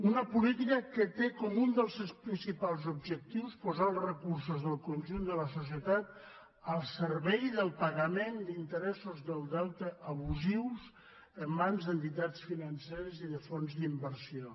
una política que té com un dels seus principals objectius posar els recursos del conjunt de la societat al servei del pagament d’interessos del deute abusius en mans d’entitats financeres i de fons d’inversió